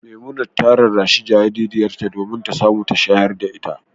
Memunat ta rarrashi jaririyarta domin ta samu ta shayar da ita.